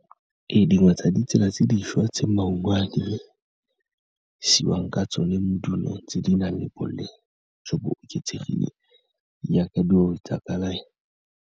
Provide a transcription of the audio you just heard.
Ee, dingwe tsa ditsela tse dišwa tse maungo a dirisiwang ka tsone le dilo tse di nang le boleng jo bo oketsegileng jaaka dilo tsa kalafi.